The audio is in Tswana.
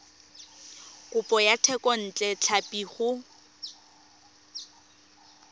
kopo ya thekontle tlhapi go